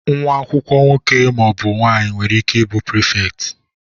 Nwa akwụkwọ nwoke ma ọ bụ nwanyị nwere ike ị bụ prịfèkt.